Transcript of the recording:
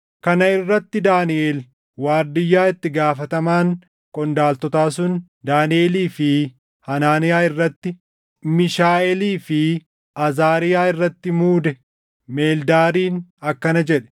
Kana irratti Daaniʼel waardiyyaa itti gaafatamaan qondaaltotaa sun Daaniʼelii fi Hanaaniyaa irratti, Miishaaʼeelii fi Azaariyaa irratti muude Meldaariin akkana jedhe;